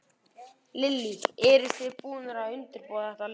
Lillý: Eru þið búnir að undirbúa þetta lengi?